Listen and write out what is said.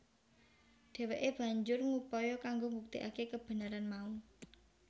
Dheweke banjur ngupaya kanggo mbuktekake kebenaran mau